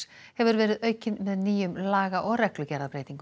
hefur verið aukinn með nýjum laga og reglugerðarbreytingum